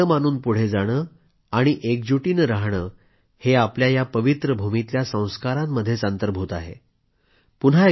सर्वांना आपलं मानून पुढे जाणे आणि एकजूट बनून राहणे हे आपल्या या पवित्र भूमीतल्या संस्कारांमध्येच अंतर्भूत आहे